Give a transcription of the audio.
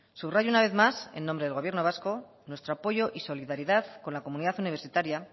subrayo una vez más en nombre del gobierno vasco nuestro apoyo y solidaridad con la comunidad universitaria